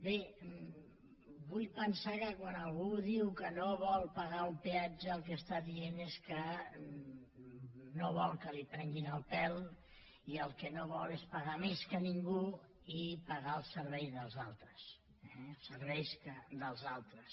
bé vull pensar que quan algú diu que no vol pagar un peatge el que diu és que no vol que li prenguin el pèl i el que no vol és pagar més que ningú i pagar el servei dels altres eh el servei dels altres